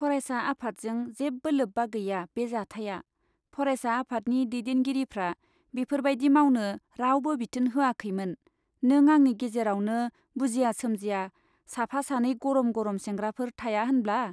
फरायसा आफादजों जेबो लोब्बा गैया बे जाथाइया, फरायसा आफादनि दैदेनगिरिफ्रा बेफोर बाइदि मावनो रावबो बिथोन होखायाखैमोन, नों आंनि गेजेरावनो बुजिया सोमजिया साफा सानै गर'म गर'म सेंग्राफोर थाया होनब्ला ?